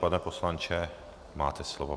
Pane poslanče, máte slovo.